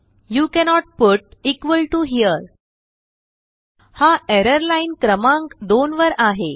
you cannot put here हा error लाईनक्रमांक 2 वर आहे